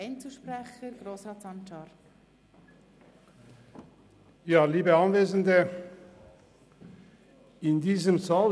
Ich gebe Grossrat Sancar als Einzelsprecher das Wort.